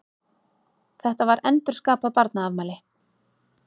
Þetta var endurskapað barnaafmæli.